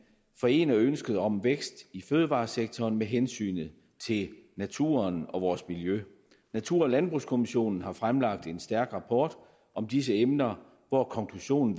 forener ønsket om vækst i fødevaresektoren med hensynet til naturen og vores miljø natur og landbrugskommissionen har fremlagt en stærk rapport om disse emner hvor konklusionen